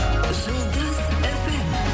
жұлдыз фм